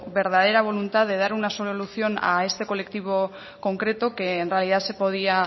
verdadera voluntad de dar una solución a este colectivo concreto que en realidad se podía